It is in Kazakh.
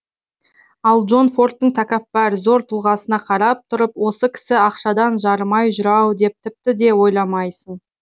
ал джон фордтың тәкаппар зор тұлғасына қарап тұрып осы кісі ақшадан жарымай жүр ау деп тіпті де ойламайсың